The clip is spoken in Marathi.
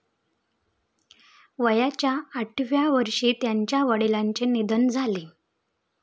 वयाच्या आठव्या वर्षी त्यांच्या वडिलांचे निधन झाले.